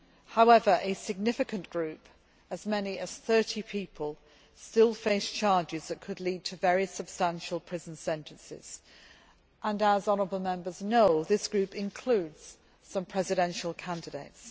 However, a significant group as many as 30 people still face charges that could lead to very substantial prison sentences and, as honourable Members know, that group includes some presidential candidates.